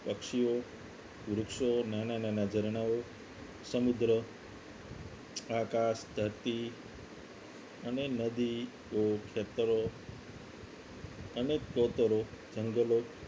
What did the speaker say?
પક્ષીઓ વૃક્ષો નાના નાના ઝરણાઓ સમુદ્ર આકાશ ધરતી અને નદી ખેતરો અને સ્તોત્રો જંગલો